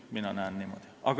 Mina näen seda niimoodi.